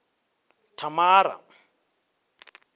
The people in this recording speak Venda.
thamara